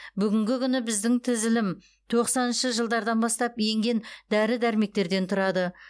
бүгінгі күні біздің тізілім тоқсаныншы жылдардан бастап енген дәрі дәрмектердер тұрады